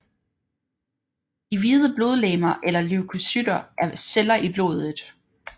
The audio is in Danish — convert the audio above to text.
De hvide blodlegemer eller leukocytter er celler i blodet